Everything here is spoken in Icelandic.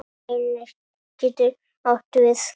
Reynir getur átt við